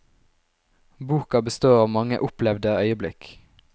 Boka består av mange, opplevde øyeblikk.